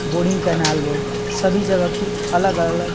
boarding canal road सभी जगह की अलग-अलग--